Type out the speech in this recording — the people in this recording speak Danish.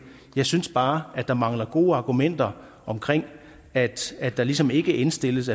jeg synes bare at der mangler gode argumenter omkring at der ligesom ikke indstilles